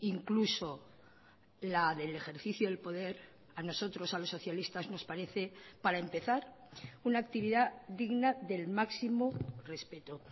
incluso la del ejercicio del poder a nosotros a los socialistas nos parece para empezar una actividad digna del máximo respeto